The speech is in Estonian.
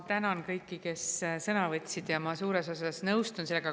Ma tänan kõiki, kes sõna võtsid, ja suures osas nõustun.